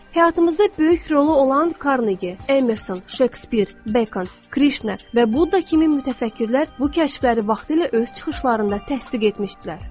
Həyatımızda böyük rolu olan Karneqi, Emerson, Şekspir, Bekon, Krişna və Budda kimi mütəfəkkirlər bu kəşfləri vaxtilə öz çıxışlarında təsdiq etmişdilər.